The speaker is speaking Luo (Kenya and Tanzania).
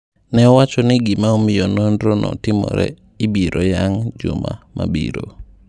Ne owacho ni gima omiyo nonro no timore ibiro yang juma mabiro.